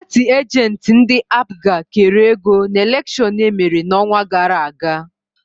Paatị ajentị ndị APGA kere ego n'elekshon emere n'ọnwa gara aga.